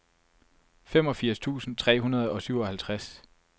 femogfirs tusind tre hundrede og syvoghalvtreds